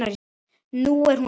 Nú er hún öll.